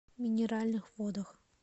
минеральных водах